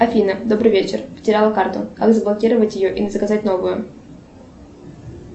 афина добрый вечер потеряла карту как заблокировать ее или заказать новую